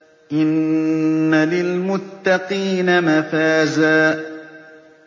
إِنَّ لِلْمُتَّقِينَ مَفَازًا